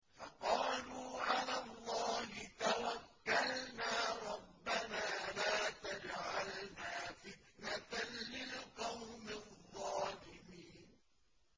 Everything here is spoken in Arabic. فَقَالُوا عَلَى اللَّهِ تَوَكَّلْنَا رَبَّنَا لَا تَجْعَلْنَا فِتْنَةً لِّلْقَوْمِ الظَّالِمِينَ